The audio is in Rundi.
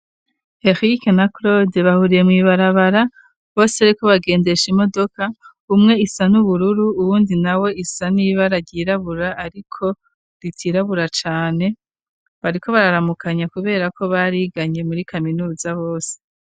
Eric na cloude bahuriye mw'ibarabara bose bariko bagendesha imodoka umwe isa n'ubururu uwundi nawe isa n'ibara ryirabura ariko ritirabura cane bariko bararamukanya kubera ko bariganye muri kaminuza bose.